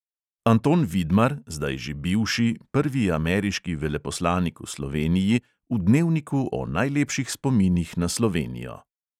Anton vidmar, zdaj že bivši, prvi ameriški veleposlanik v sloveniji v dnevniku o najlepših spominih na slovenijo.